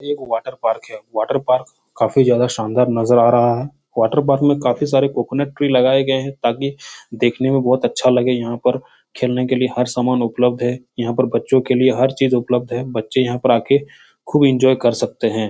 एक वाटरपार्क है। यह वाटरपार्क काफी ज्यादा शानदार नजर आ रहा है। वाटरपार्क मे काफी सारे कोकोनट ट्री भी लगाये गये हैं। ताकि देखने मे काफी अच्छा लगे यहाँ पर खेलने के लिये हर समान उपलब्ध है। यहाँ पर बच्चो के लिये हर चीज उपलब्ध है। बच्चे यहाँ पे आके खूब एंजॉय कर सकते हैं।